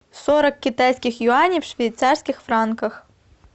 сорок китайских юаней в швейцарских франках